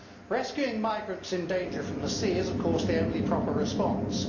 Rescuing migrants in danger from the sea is of course the only proper response.